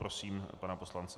Prosím pana poslance.